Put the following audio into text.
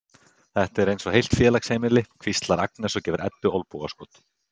Þetta er eins og heilt félagsheimili, hvíslar Agnes og gefur Eddu olnbogaskot.